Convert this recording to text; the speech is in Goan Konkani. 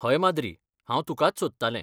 हय माद्री, हांव तुकाच सोदतालें.